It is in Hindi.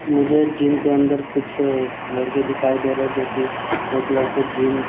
मुझे जिम के अन्दर कुछ लड़के दिखाई दे रहे है जो की एक लड़के जिम --